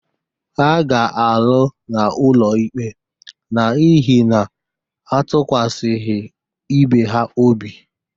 Ha ga-alụ n’ụlọikpe n’ihi na ha atụkwasịghị ibe ha obi